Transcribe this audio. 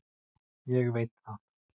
ég veit það.